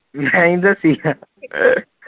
ਨਈ ਦਸੀ